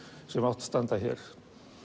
sem átti að standa hér